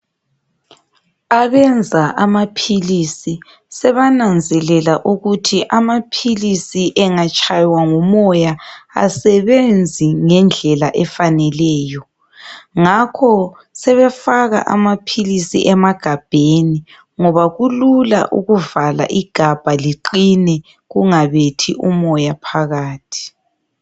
Abenza amaphilisi sebananzelela ukuthi amaphilisiengatshaywa ngumoya asebenzi ngendlela efaneleyo, ngakho sebefaka amaphilisi emagabheni. Ngoba kulula ukuvala igabha liqine kungabethi umoya phakathi.